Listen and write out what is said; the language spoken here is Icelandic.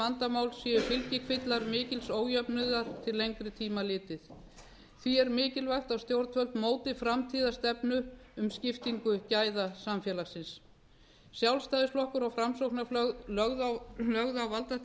vandamál séu fylgifiskar mikils ójöfnuðar til lengri tíma litið því er mikilvægt að stjórnvöld móti framtíðarstefnu um skiptingu gæða samfélagsins sjálfstæðisflokkur og framsóknarflokkur lögðu á valdatíð